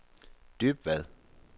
Dybvad